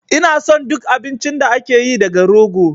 Ina son duk abincin da ake yi daga rogo